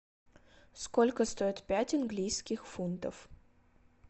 сколько стоит пять английских фунтов